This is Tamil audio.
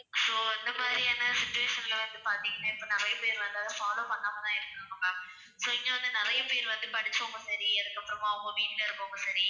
so இந்த மாதிரியான situation ல வந்து பார்த்தீங்கன்னா இப்ப நிறைய பேர் வந்து அதை follow பண்ணாம தான் இருக்குறாங்க ma'am so இங்க வந்து நிறைய பேர் வந்து படிச்சவங்க சரி அதுக்கு அப்புறமா அவங்க வீட்ல இருக்குறவங்க சரி